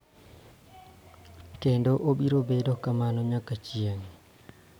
Kendo obiro bedo kamano nyaka chieng�.